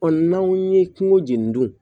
n'anw ye kungo jeni dun